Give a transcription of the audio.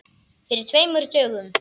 Fyrir tveimur dögum?